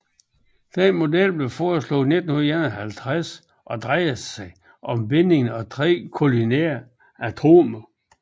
Denne model blev foreslået i 1951 og drejer sig om binding af tre kolineære atomer